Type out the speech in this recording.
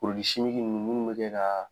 ninnu munnu be kɛ kaa